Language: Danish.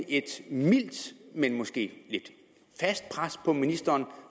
et mildt men måske fast pres på ministeren